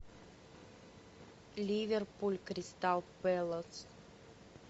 ливерпуль кристал пэлас